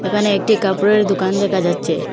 এখানে একটি কাপড়ের দুকান দেখা যাচ্চে।